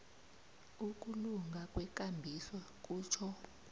ukulunga kwekambiso kutjho